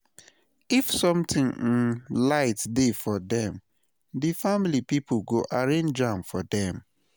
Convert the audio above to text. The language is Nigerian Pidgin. if somtin um lite dey for dem, di family pipo go arrange am for dem